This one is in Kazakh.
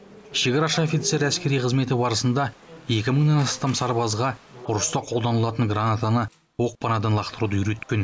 шекарашы офицер әскери қызметі барысында екі мыңнан астам сарбазға ұрыста қолданылатын гранатаны оқпанадан лақтыруды үйреткен